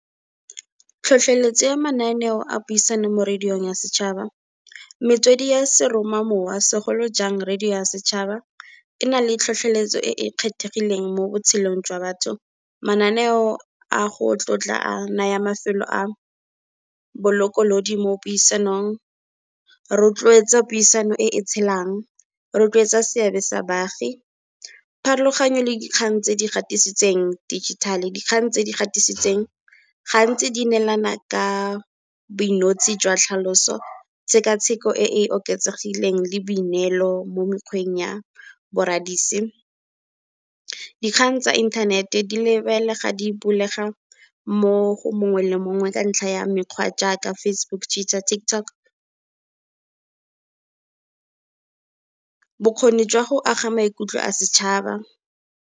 Tlhotlheletso ya mananeo a puisano mo radiong ya setšhaba metswedi ya seroma mowa segolojang radio ya setšhaba. E na le tlhotlheletso e e kgethegileng mo botshelong jwa batho, mananeo a go tlotla a naya mafelo a bolokolodi mo puisanong, rotloetsa puisano e e tshelang, rotloetsa seabe sa baagi. Pharologanyo le dikgang tse di gatisitseng digital dikgang tse di gatisitseng, gantsi di neelana ka boinotse jwa tlhaloso, tsheka-tsheko e e oketsegileng le boineelo mo mekgweng ya boradisi. Dikgang tsa inthanete di lebelega di mo go mongwe le mongwe ka ntlha ya mekgwa jaaka, Facebook, Twitter, TikTok bokgoni jwa go aga maikutlo a setšhaba.